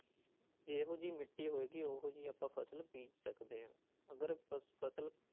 ਜਿਹੋ ਜਿਹੀ ਮਿੱਟੀ ਹੋਏਗੀ ਉਹ ਜਿਹੀ ਆਪਾਂ ਫ਼ਸਲ ਬੀਜ ਸਕਦੇ ਹਾਂ, ਅਗਰ ਫ਼ਸਲ